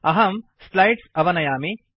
अहं स्लैड्स् अवनयामि